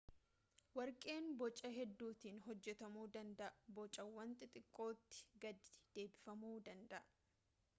warqeen boca hedduutiin hojjetamu danda'a bocawwan xixiqqootti gadi deebifamuu danda'a